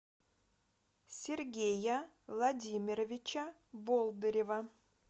сергея владимировича болдырева